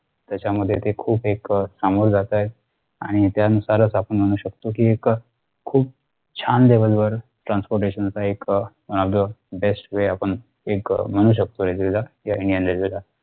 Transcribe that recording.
त्याच्यामध्ये ते खूप एक अह चांगुल जातायेत आणि त्यानुसारच आपण म्हणू शकतो कि एक अह खूप छान level वर transportation च एक अह bestway आपण एक अह म्हणू शकतो railway ला indianrailway